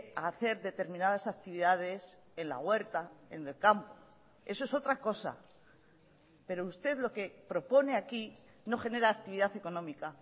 a hacer determinadas actividades en la huerta en el campo eso es otra cosa pero usted lo que propone aquí no genera actividad económica